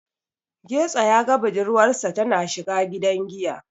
Getso ya ga budurwarsa tana shiga gidan giya.